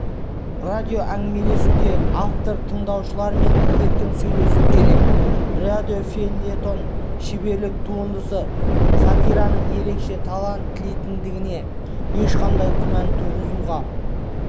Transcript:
радиоәңгімелесуде автор тыңдаушылармен еркін сөйлесу керек радиофельетон шеберлік туындысы сатираның ерекше талант тілейтіндігіне ешқандай күмән туғызуға